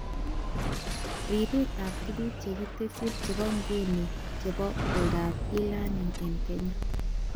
Ripetab tuguk chekitesyi chebo nguni chebo oldoab e-learning eng Kenya